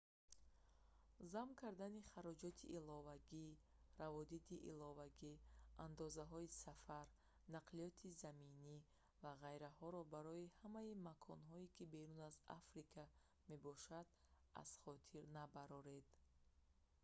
зам кардани хароҷоти иловагии раводиди иловагӣ андозҳои сафар нақлиёти заминӣ ва ғайраҳоро барои ҳамаи маконҳое ки берун аз африка мебошанд аз хотир набароред